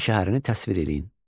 Qəbələ şəhərini təsvir eləyin.